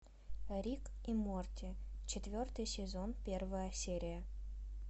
рик и морти четвертый сезон первая серия